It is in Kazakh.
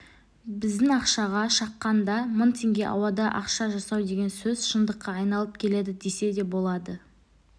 біздің ақшаға шаққанда мың теңге ауадан ақша жасау деген сөз шындыққа айналып келеді десе де болады